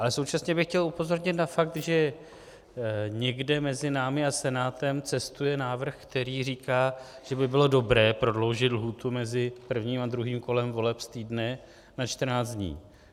Ale současně bych chtěl upozornit na fakt, že někde mezi námi a Senátem cestuje návrh, který říká, že by bylo dobré prodloužit lhůtu mezi prvním a druhým kolem voleb z týdne na 14 dní.